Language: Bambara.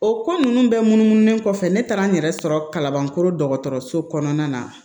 O ko ninnu bɛɛ munumunu kɔfɛ ne taara n yɛrɛ sɔrɔ kalabankɔrɔ dɔgɔtɔrɔso kɔnɔna na